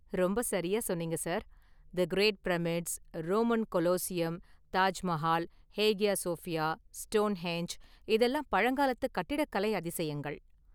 ரொம்ப சரியாக சொன்னீங்க, sir! The great pyramids, Roman Colosseum, Taj Mahal, Hagia Sophia, Stonehenge இதெல்லாம் பழங்காலத்து கட்டிடக்கலை அதிசயங்கள்.